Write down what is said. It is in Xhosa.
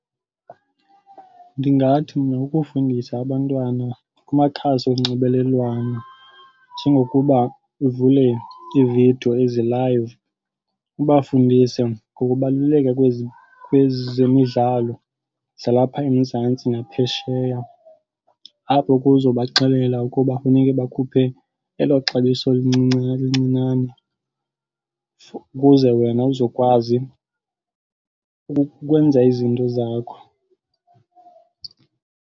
Ndingathi mna kukufundisa abantwana kumakhasi onxibelelwano njengokuba uvule ii-video ezi-live ubafundise ngokubaluleka kwezemidlalo zalapha eMzantsi naphesheya. Apho ke uzobaxelela ukuba kufuneke bakhuphe elo xabiso lincinane ukuze wena uzokwazi ukwenza izinto zakho.